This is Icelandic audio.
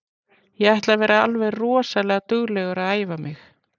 Ég ætla að vera alveg rosalega duglegur að æfa mig.